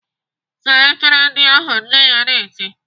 "Saa efere ndị ahụ!" Nne ya na-eti.